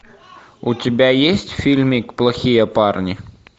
у тебя есть фильмик плохие парни